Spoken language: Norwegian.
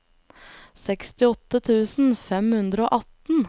sekstiåtte tusen fem hundre og atten